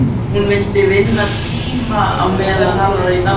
Hún vildi vinna tíma á meðan hann var í dái.